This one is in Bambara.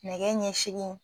Nɛgɛ ɲɛ segi